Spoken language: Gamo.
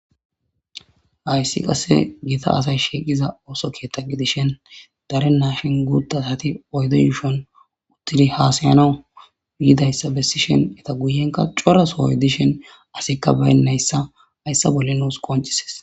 ayssi qasse gita asay shiiqiza ooso keetta gidishen dare naashin guutdaati oyde yshon uttidi haasayana yidayssa bessishen eta guyenka corasohoy dishen asikka baynnayssa hayssa bolli nuus qoncisis